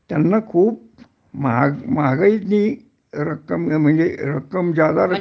त्यांना खूप महाग महागाईतली रक्कम म्हणजे रक्कम ज्यादा